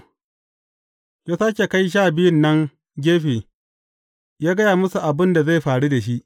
Ya sāke kai Sha Biyun nan gefe, ya gaya musu abin da zai faru da shi.